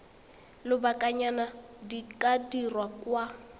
lobakanyana di ka dirwa kwa